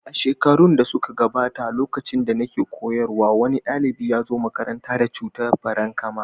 A shekaru da suka gabata, lokacin da nake koyarwa, wani ɗalibi ya zo makaranta da cutar farankama.